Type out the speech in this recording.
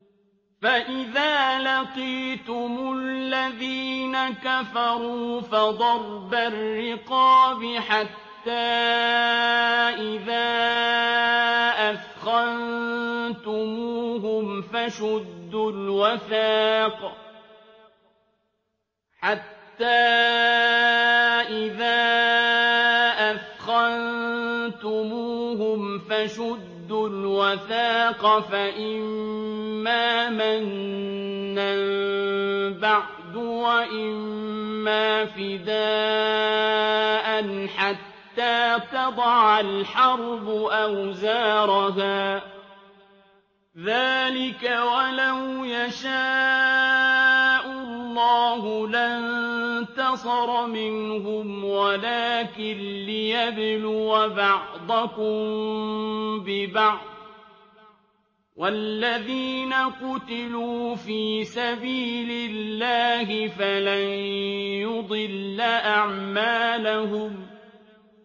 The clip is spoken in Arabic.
فَإِذَا لَقِيتُمُ الَّذِينَ كَفَرُوا فَضَرْبَ الرِّقَابِ حَتَّىٰ إِذَا أَثْخَنتُمُوهُمْ فَشُدُّوا الْوَثَاقَ فَإِمَّا مَنًّا بَعْدُ وَإِمَّا فِدَاءً حَتَّىٰ تَضَعَ الْحَرْبُ أَوْزَارَهَا ۚ ذَٰلِكَ وَلَوْ يَشَاءُ اللَّهُ لَانتَصَرَ مِنْهُمْ وَلَٰكِن لِّيَبْلُوَ بَعْضَكُم بِبَعْضٍ ۗ وَالَّذِينَ قُتِلُوا فِي سَبِيلِ اللَّهِ فَلَن يُضِلَّ أَعْمَالَهُمْ